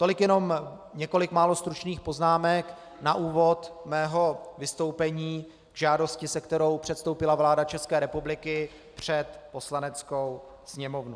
Tolik jenom několik málo stručných poznámek na úvod mého vystoupení k žádosti, se kterou předstoupila vláda České republiky před Poslaneckou sněmovnu.